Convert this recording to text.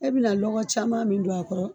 E bi na lɔkɔ caman min don a kɔrɔ